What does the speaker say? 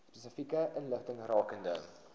spesifieke inligting rakende